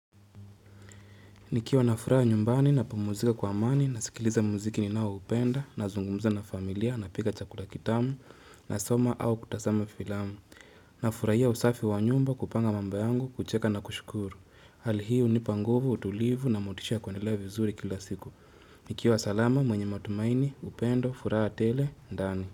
Nikiwa nafuraha nyumbani na pumuzika kwa amani na sikiliza muziki ninaoupenda na zungumza na familia na pika chakula kitamu na soma au kutasama filamu. Na furahia usafi wa nyumba, kupanga mambo yangu, kucheka na kushukuru. Hali hii hunipa nguvu, utulivu na motisha ya kuendelea vizuri kila siku. Nikiwa salama mwenye matumaini, upendo, furaha tele, ndani.